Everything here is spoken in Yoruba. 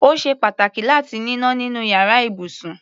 Ó ṣe pàtàkì láti níná nínú iyàrá ibùsùn.